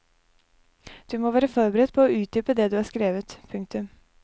Du må være forberedt på å utdype det du har skrevet. punktum